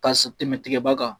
TKa tɛmɛ tigaba kan